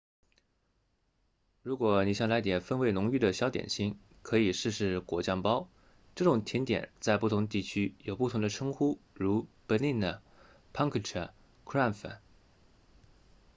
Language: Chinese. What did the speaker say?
如果你想来点风味浓郁的小点心可以试试果酱包这种甜点在不同地区有不同的称呼如 berliner pfannkuchen krapfen